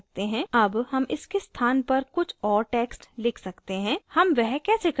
अब how इसके स्थान पर कुछ और text लिख सकते हैं how वह कैसे करते हैं